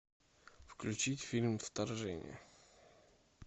включить фильм вторжение